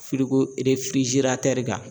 kan